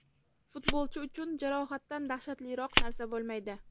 Futbolchi uchun jarohatdan dahshatliroq narsa bo‘lmaydi.